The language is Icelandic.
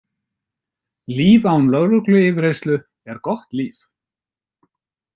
Líf án lögregluyfirheyrslu er gott líf.